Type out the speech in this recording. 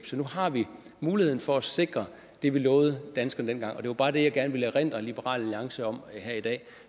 så nu har vi muligheden for at sikre det vi lovede danskerne dengang det var bare det jeg gerne ville erindre liberal alliance om her i dag